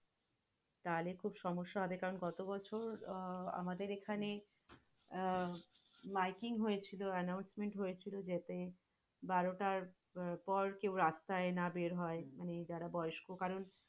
তাহলে খুব সমস্যা হবে কারণ, গত বছর আহ আমাদের এখানে আহ mikeing হয়েছিল anusoment হয়েছিল, যাতে বারোটার পর কেউ রাস্তাই না বের হয়। মানে যারা বয়স্ক কারণ,